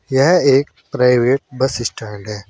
यह एक private bus stand है।